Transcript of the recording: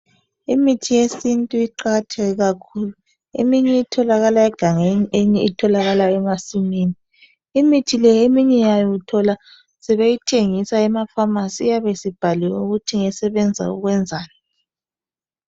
Imithi yesintu iqakatheke kakhulu. Eminye etholakala egangeni, eminye etholakala emasimini. Imithi le eminye yayo uthola sebeyithengisa ema"pharmarcy ",iyabe isibhaliwe ukuthi ngesebenza ukwenzani.